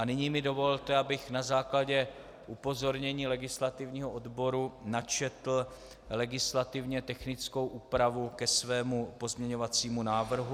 A nyní mi dovolte, abych na základě upozornění legislativního odboru načetl legislativně technickou úpravu ke svému pozměňovacímu návrhu.